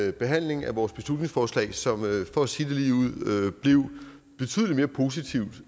en behandling af vores beslutningsforslag som for at sige det ligeud blev betydelig mere positiv